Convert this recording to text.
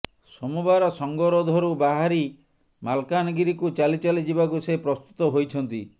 ସୋମବାର ସଂଗରୋଧରୁ ବାହାରି ମାଲକାନଗିରିକୁ ଚାଲିଚାଲି ଯିବାକୁ ସେ ପ୍ରସ୍ତୁତ ହୋଇଛନ୍ତି